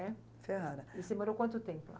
É, Ferrara. E você morou quanto tempo lá?